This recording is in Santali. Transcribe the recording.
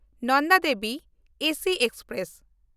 Nanda Devi AC express